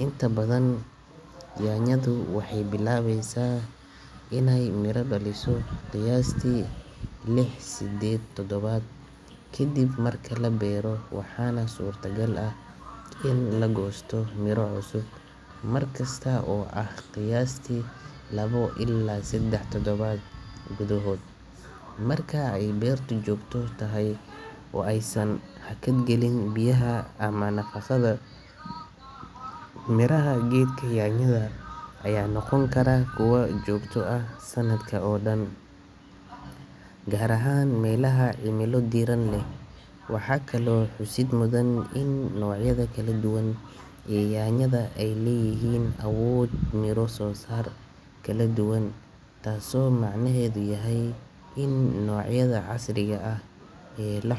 inta badan nyanyadu waxeey bilabeysa inaay mira daliso qayaasti Liz, sedeed, tadabaad, kadib marka la beero waxaana suurta gal ah in la goosto mira cusub, markasta oo ah qayaasti labo ilaa sedex tadabaad gudahooda, marka aay beerta joogto tahay oo aay san hakad galin biyaha ama nafaqada miraha geedka nyanyada ayaa noqon karaa kuwa joogta ah sanadka oo dan, gaar ahaan meelaha cimila diiran leh, waxaa kale oo xusid mudan in noocyada kala duwan ee nyanyada aay leeyihiin abuur miro saar kala duwan taas oo micnaheeda yahay in noocyada casriga.